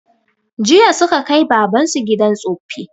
Jiya suka kai baban su gidan tsoffi